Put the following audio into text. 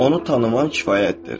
Onu tanımaq kifayətdir.